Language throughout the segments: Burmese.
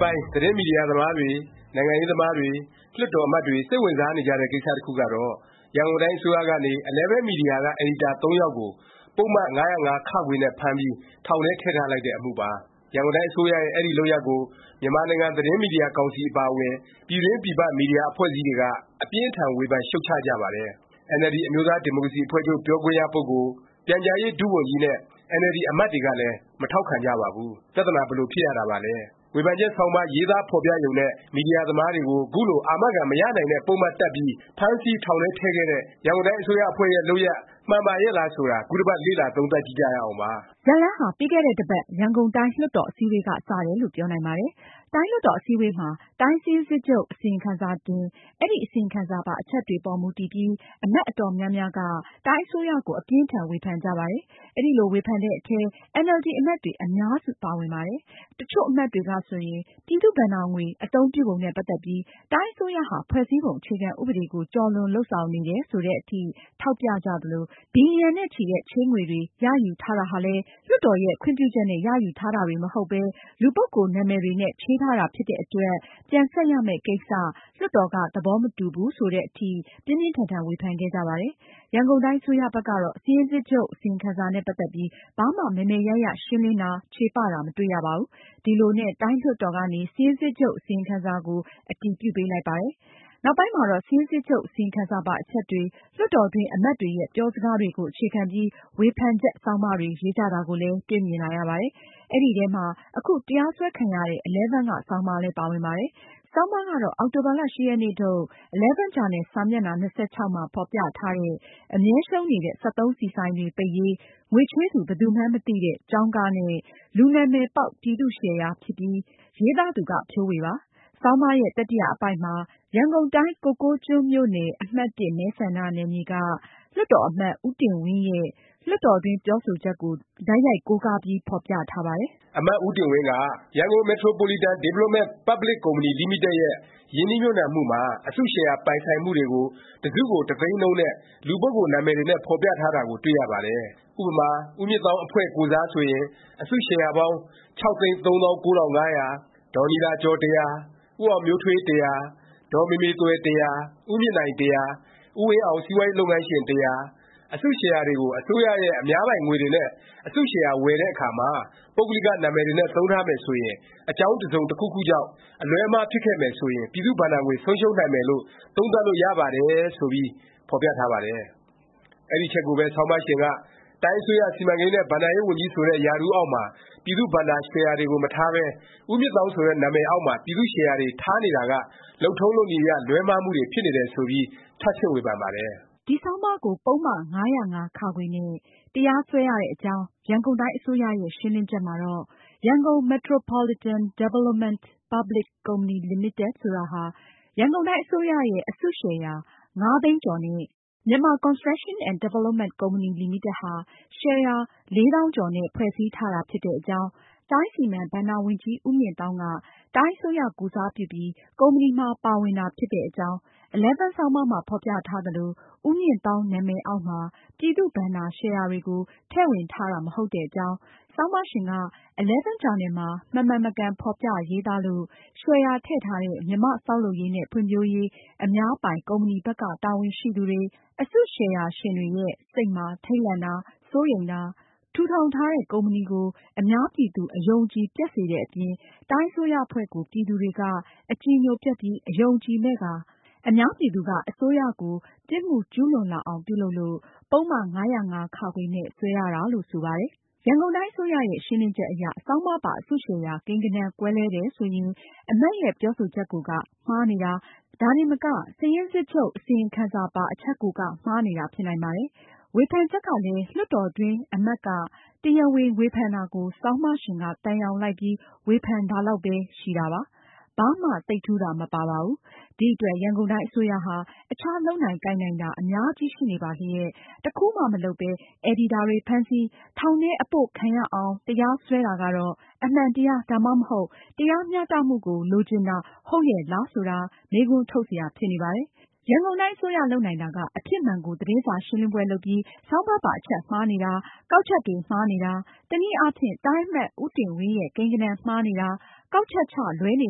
ပိုင်း သတင်းမီဒီယာသမားတွေ၊ နိုင်ငံရေးသမားတွေ၊ လွှတ်တော် အမတ်တွေ စိတ်ဝင်စားနေကြတဲ့ ကိစ္စတခုကတော့ ရန်ကုန်တိုင်း အစိုးရကနေ Eleven မီဒီယာက အယ်ဒီတာ သုံးယောက်ကို ပုဒ်မ ၅၀၅(ခ) နဲ့ ဖမ်းပြီး ထောင်ထဲ ထည့်ထားလိုက်တဲ့ အမှုပါ။ ရန်ကုန်တိုင်း အစိုးရရဲ့ အဲဒီ လုပ်ရပ်ကို မြန်မာနိုင်ငံ သတင်းမီဒီယာကောင်စီ အပါအဝင် ပြည်တွင်း ပြည်ပ မီဒီယာ အဖွဲ့အစည်းတွေက အပြင်းအထန် ဝေဖန်ရှုတ်ချကြပါတယ်။ NLD အမျိုးသားဒီမိုကရေစီ အဖွဲ့ချုပ် ပြောခွင့်ရပုဂ္ဂိုလ်၊ ပြန်ကြားရေး ဒုဝန်ကြီး နဲ့ NLD အမတ်တွေကလည်း မထောက်ခံကြပါဘူး။ ပြသနာ ဘယ်လို ဖြစ်ရတာပါလဲ၊ ဝေဖန်ချက် ဆောင်းပါး ရေးသားဖော်ပြရုံနဲ့ မီဒီယာသမားတွေကို ခုလို အာမခံ မရနိုင်တဲ့ ပုဒ်မတပ်ပြီး ဖမ်းဆီးထောင်ထဲထည့်ခဲ့တဲ့ ရန်ကုန်တိုင်း အစိုးရအဖွဲ့ရဲ့ လုပ်ရပ် မှန်ပါရဲ့လား ဆိုတာ ခုတပတ် လေ့လာသုံးသပ်ကြည့်ကြရအောင်ပါ။ ဇာတ်လမ်းဟာ ပြီးခဲ့တဲ့ တစ်ပတ် ရန်ကုန်တိုင်း လွှတ်တော် အစည်းအဝေးက စတယ်လို့ ပြောနိုင်ပါတယ်။ တိုင်းလွှတ်တော် အစည်းအဝေးမှာ တိုင်းစာရင်းစစ်ချုပ် အစီရင်ခံစာတင်၊ အဲဒီ အစီရင်ခံစာပါ အချက်တွေအပေါ် မူတည်ပြီး အမတ် အတော်များများက တိုင်းအစိုးရကို အပြင်းအထန် ဝေဖန်ကြပါတယ်။ အဲလိုဝေဖန်တဲ့အထဲ NLD အမတ်တွေ အများစု ပါဝင်ပါတယ်။ တချို့အမတ်တွေကဆိုရင် ပြည်သူ့ဘဏ္ဍာငွေ အသုံးပြုပုံနဲ့ ပတ်သက်ပြီး တိုင်းအစိုးရဟာ ဖွဲ့စည်းပုံ အခြေခံ ဥပဒေကို ကျော်လွန်လုပ်ဆောင်နေတယ် ဆိုသည်အထိ ထောက်ပြကြသလို၊ ဘီလျံနဲ့ချီတဲ့ ချေးငွေတွေ ရယူထားတာဟာလည်း လွှတ်တော်ရဲ့ ခွင့်ပြုချက်နဲ့ ရယူထားတာတွေ မဟုတ်ပဲ လူပုဂ္ဂိုလ်နာမည်တွေနဲ့ ချေးထားတာ ဖြစ်တဲ့အတွက် ပြန်ဆပ်ရမယ့်ကိစ္စ လွှတ်တော်က သဘောမတူဘူး ဆိုသည်အထိ ပြင်းပြင်းထန်ထန် ဝေဖန်ခဲ့ကြပါတယ်။ ရန်ကုန်တိုင်း အစိုးရဘက်ကတော့ စာရင်းစစ်ချုပ် အစီရင်ခံစာနဲ့ ပတ်သက်ပြီး ဘာမှ မယ်မယ်ရရ ရှင်းလင်းတာ၊ ချေပတာ မတွေ့ရပါဘူး။ ဒီလိုနဲ့ တိုင်းလွှတ်တော်ကနေ စာရင်းစစ်ချုပ် အစီရင်ခံစာကို အတည်ပြုပေးလိုက်ပါတယ်။ နောက်ပိုင်းမှာတော့ စစ်ရင်းစစ်ချုပ် အစီရင်ခံစာပါ အချက်တွေ၊ လွှတ်တော်တွင်း အမတ်တွေရဲ့ ပြောစကားတွေကို အခြေခံပြီး ဝေဖန်ချက်ဆောင်းပါးတွေ ရေးကြတာကိုလည်း တွေ့မြင်လာရပါတယ်။ အဲဒီထဲမှာ အခု တရားစွဲခံရတဲ့ Eleven က ဆောင်းပါးလည်း ပါဝင်ပါတယ်။ ဆောင်းပါးကတော့ အောက်တိုဘာ ၈ ရက်နေ့ထုတ် Eleven ဂျာနယ် စာမျက်နှာ ၂၆ မှာ ဖော်ပြထားတဲ့ “ အမြဲရှုံးနေတဲ့ စက်သုံးဆီဆိုင်တွေ ပိတ်ရေး၊ ငွေချေးသူ ဘယ်သူမှန်း မသိတဲ့ ကျောင်းကားနဲ့ လူနာမည်ပေါက် ပြည်သူ့ရှယ်ယာ” ဖြစ်ပြီး ရေးသားသူက ဖြိုးဝေပါ။ ဆောင်းပါးရဲ့ တတိယ အပိုဒ်မှာ ရန်ကုန်တိုင်း ကိုကိုးကျွန်းမြို့နယ် အမှတ်(၁) အမတ် ဦးတင်ဝင်းရဲ့ လွှတ်တော်တွင်း ပြောဆိုချက်ကို တိုက်ရိုက်ကုဒ် နဲ့ ဖော်ပြထားပါတယ်။ အမတ် ဦးတင်ဝင်းက “ Yangon Metropolitan Development Public Co.,Ltd ရဲ့ ရင်းနှီးမြှုပ်နှံမှုမှာ အစုရှယ်ယာ ပိုင်ဆိုင်မှုတွေကို တစုကို တသိန်းနှုန်းနဲ့ လူပုဂ္ဂိုလ် နာမည်တွေနဲ့ ဖော်ပြထားတာကို တွေ့ရပါတယ်။ ဥပမာ ဦးမြင့်သောင်း အဖွဲ့ကိုယ်စား ဆိုရင် အစုရှယ်ယာပေါင်း ၆၃၉၅၀၀၊ ဒေါ်နီလာကျော် ၁၀၀၊ ဦးအောင်မျိုးထွေး ၁၀၀၊ ဒေါ်မေမေသွယ် ၁၀၀၊ ဦးမြင့်နိုင် ၁၀၀၊ ဦးဝင်းအောင် စီးပွားရေး လုပ်ငန်းရှင် ၁၀၀၊ အစုရှယ်ယာတွေကို အစိုးရရဲ့ အများပိုင်ငွေတွေနဲ့ အစုရှယ်ယာ ဝယ်တဲ့အခါမှာ ပုဂ္ဂလိက နာမည်တွေနဲ့ သုံးထားမယ် ဆိုရင် အကြောင်း တစ်စုံတစ်ခုခုကြောင့် အလွဲအမှား ဖြစ်ခဲ့မယ် ဆိုရင် ပြည်သူ့ဘဏ္ဍာငွေ ဆုံးရှုံးနိုင်မယ်လို့ သုံးသပ်လို့ ရပါတယ်။” ဆိုပြီး ဖော်ပြထားပါတယ်။ အဲဒီအချက်ကိုပဲ ဆောင်းပါးရှင်က “ တိုင်းအစိုးရ စီမံကိန်းနဲ့ ဘဏ္ဍာရေးဝန်ကြီး ဆိုတဲ့ ရာထူးအောက်မှာ ပြည်သူ့ဘဏ္ဍာ ရှယ်ယာတွေကို မထားပဲ ဦးမြင့်သောင်းဆိုတဲ့ နာမည်အောက်မှာ ပြည်သူ့ရှယ်ယာတွေ ထားနေတာက လုပ်ထုံးလုပ်နည်းအရ လွဲမှားမှုတွေ ဖြစ်နေတယ်” ဆိုပြီး ထပ်ဆင့် ဝေဖန်ပါတယ်။ ဒီဆောင်းပါးကို ပုဒ်မ ၅၀၅(ခ) နဲ့ တရားစွဲရတဲ့အကြောင်း ရန်ကုန်တိုင်း အစိုးရရဲ့ ရှင်းလင်းချက်မှာတော့ Yangon Metropolitan Development Public Co.,Ltd ဆိုတာဟာ ရန်ကုန်တိုင်း အစိုးရရဲ့ အစုရှယ်ယာ ၅၃၉၅၀၀ နဲ့ Myanmar Construction and Development Co.,Ltd က ရှယ်ယာ ၄၈၆၀၀ နဲ့ ဖွဲ့စည်းထားတာ ဖြစ်တဲ့အကြောင်း၊ တိုင်း စီမံ၊ဘဏ္ဍာဝန်ကြီး ဦးမြင့်သောင်းက တိုင်းအစိုးရကိုယ်စားပြုပြီး ကုမ္ပဏီမှာ ပါဝင်တာ ဖြစ်တဲ့အကြောင်း၊ Eleven ဆောင်းပါးမှာ ဖော်ပြထားသလို ဦးမြင့်သောင်း နာမည်အောက်မှာ ပြည်သူ့ဘဏ္ဍာရှယ်ယာတွေကို ထည့်ဝင်ထားတာ မဟုတ်တဲ့အကြောင်း၊ ဆောင်းပါးရှင်က Eleven ဂျာနယ်မှာ မမှန်မကန် ဖော်ပြရေးသားလို့ ရှယ်ယာထည့်ထားတဲ့ မြန်မာ့ဆောက်လုပ်ရေးနဲ့ ဖွံ့ဖြိုးရေး အများပိုင် ကုမ္ပဏီဘက်က တာဝန်ရှိသူတွေ အစုရှယ်ယာရှင်တွေရဲ့ စိတ်မှာ ထိတ်လန့်တာ၊ စိုးရိမ်တာ၊ ထူထောင်ထားတဲ့ ကုမ္ပဏီကို အများပြည်သူ အယုံအကြည် ပျက်စေတဲ့အပြင် တိုင်းအစိုးရအဖွဲ့ကို ပြည်သူတွေက အကြည်ညိုပျက်ပြီး အယုံအကြည်မဲ့ကာ အများပြည်သူက အစိုးရကို ပြစ်မှုကျူးလွန်လာအောင် ပြုလုပ်လို့ ပုဒ်မ ၅၀၅(ခ) နဲ့ စွဲရတယ်လို့ ဆိုထားပါတယ်။ ရန်ကုန်တိုင်း အစိုးရရဲ့ ရှင်းလင်းချက်အရ ဆောင်းပါးပါ အစုရှယ်ယာ ကိန်းဂဏန်း ကွဲလွဲတယ် ဆိုရင် အမတ်ရဲ့ ပြောဆိုချက်ကိုက မှားနေတာ၊ ဒါတင်မက စာရင်းစစ်ချုပ် အစီရင်ခံစာပါ အချက်ကိုက မှားနေတာ ဖြစ်နိုင်ပါတယ်။ ဝေဖန်ချက်ကလည်း လွှတ်တော်တွင်း အမတ်က တရားဝင် ဝေဖန်တာကို ဆောင်းပါးရှင်က သံယောင်လိုက်ပြီး ဝေဖန်တာလောက်ပဲ ရှိတာပါ။ ဘာမှ သိပ်ထူးတာ မပါပါဘူး။ ဒီအတွက် ရန်ကုန်တိုင်း အစိုးရဟာ အခြား လုပ်နိုင်ကိုင်နိုင်တာ အများကြီး ရှိနေပါလျက် တခုမှ မလုပ်ပဲ အယ်ဒီတာတွေ ဖမ်းဆီး၊ ထောင်ထဲ အပို့ခံရအောင် တရားစွဲတာကတော့ အမှန်တရား၊ ဒါမှမဟုတ် တရားမျှတမှုကို လိုချင်တာ ဟုတ်ရဲ့လား ဆိုတာ မေးခွန်းထုတ်စရာ ဖြစ်နေပါတယ်။ ရန်ကုန်တိုင်း အစိုးရ လုပ်နိုင်တာက အဖြစ်မှန်ကို သတင်းစာရှင်းလင်းပွဲ လုပ်ပြီး ဆောင်းပါးပါ အချက်မှားနေတာ၊ ကောက်ချက်တွေ မှားနေတာ၊ တစ်နည်းအားဖြင့် တိုင်းအမတ် ဦးတင်ဝင်းရဲ့ ကိန်းဂဏန်းမှားနေတာ၊ ကောက်ချက်ချ လွဲနေ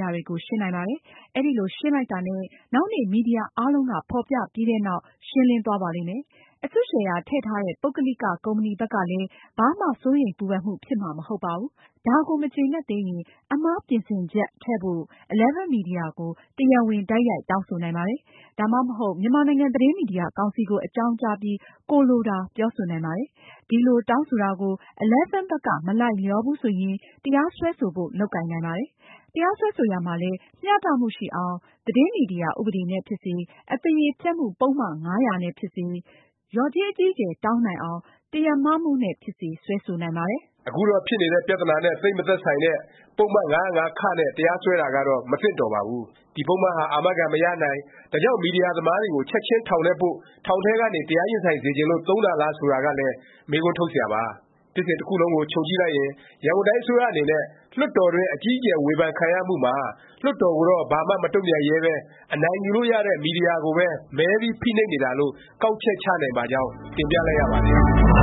တာတွေကို ရှင်းနိုင်ပါတယ်။ အဲလို ရှင်းလိုက်တာနဲ့ နောက်နေ့ မီဒီယာ အားလုံးက ဖော်ပြပြီးတဲ့နောက် ရှင်းလင်းသွားပါလိမ့်မယ်။ အစုရှယ်ယာ တည့်ထားတဲ့ ပုဂ္ဂလိက ကုမ္ပဏီဘက်ကလည်း ဘာမှ စိုးရိမ်ပူပန်မှု ဖြစ်မှာ မဟုတ်ပါဘူး။ ဒါကို မကျေနပ်သေးရင် အမှားပြင်ဆင်ချက် ထည့်ပေးဖို့ Eleven မီဒီယာကို တရားဝင် တိုက်ရိုက် တောင်းဆိုနိုင်ပါတယ်။ ဒါမှမဟုတ် မြန်မာနိုင်ငံ သတင်းမီဒီယာ ကောင်စီကို အကြောင်းကြားပြီး ကိုယ်လိုတာ ပြောဆိုနိုင်ပါတယ်။ ဒီလို တောင်းဆိုတာကို Eleven ဘက်က မလိုက်လျောဘူးဆိုရင် တရားစွဲဆိုဖို့ လုပ်ကိုင်နိုင်ပါတယ်။ တရားစွဲဆိုရာမှာလည်း မျှတမှုရှိအောင် သတင်းမီဒီယာ ဥပဒေနဲ့ ဖြစ်စေ၊ အသရေဖျက်မှု ပုဒ်မ ၅၀၀ နဲ့ ဖြစ်စေ၊ လျော်ကြေး အကြီးအကျယ် တောင်းနိုင်အောင် တရားမမှုနဲ့ ဖြစ်စေ စွဲဆိုနိုင်ပါတယ်။ အခုတော့ ဖြစ်နေတဲ့ ပြသနာနဲ့ သိပ် မသက်ဆိုင်တဲ့ ပုဒ်မ ၅၀၅(ခ) နဲ့ တရားစွဲတာကတော့ မသင့်တော်ပါဘူး။ ဒီ ပုဒ်မဟာ အာမခံ မရနိုင်၊ ဒါကြောင့် မီဒီယာသမားတွေကို ချက်ခြင်း ထောင်ထဲပို့၊ ထောင်ထဲကနေ တရားရင်ဆိုင် စေချင်လို့ သုံးတာလား ဆိုတာကလည်း မေးခွန်းထုတ်စရာပါ။ ဖြစ်စဉ်တခုလုံးကို ခြုံကြည့်လိုက်ရင် ရန်ကုန်တိုင်း အစိုးရအနေနဲ့ လွှတ်တော်တွင်း အကြီးအကျယ် ဝေဖန်ခံရမှုမှာ လွှတ်တော်ကိုတော့ ဘာမှ မတုန့်ပြန်ရဲပဲ အနိုင်ယူလို့ရတဲ့ မီဒီယာကိုပဲ မဲပြီး ဖိနှိပ်တာလို့ ကောက်ချက်ချနိုင်ပါကြောင်း တင်ပြလိုက်ရပါတယ်။